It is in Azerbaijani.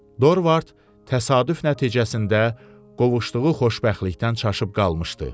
Dorvard təsadüf nəticəsində qovuşduğu xoşbəxtlikdən çaşıb qalmışdı.